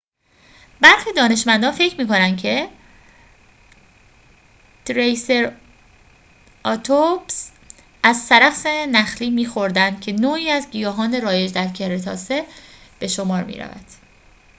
برخی دانشمندان فکر می‌کنند که تریسراتوپس از سرخس نخلی می‌خوردند که نوعی از گیاهان رایج در کرتاسه به شمار می‌رود